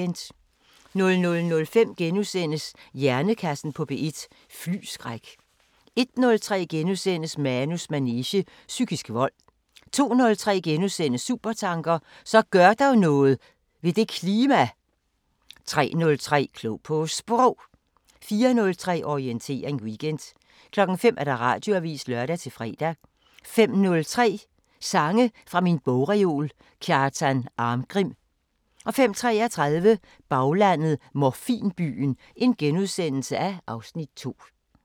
00:05: Hjernekassen på P1: Flyskræk * 01:03: Manus manege: Psykisk vold * 02:03: Supertanker: Så gør dog noget ... ved det klima! * 03:03: Klog på Sprog 04:03: Orientering Weekend 05:00: Radioavisen (lør-fre) 05:03: Sange fra min bogreol – Kjartan Arngrim 05:33: Baglandet: 'Morfinbyen' (Afs. 2)*